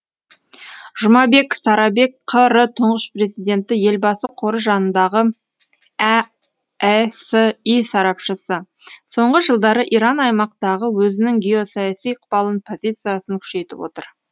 жұмабек сарабек қр тұңғыш президенті елбасы қоры жанындағы әэси сарапшысы соңғы жылдары иран аймақтағы өзінің геосаяси ықпалын позициясын күшейтіп отыр